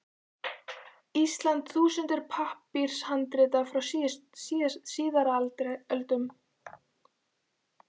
Íslands þúsundir pappírshandrita frá síðari öldum.